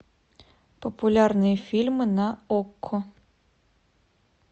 популярные фильмы на окко